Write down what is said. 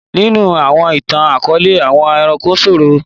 Nínú àwọn ìtàn-akọọlẹ, àwọn ẹranko sọrọ.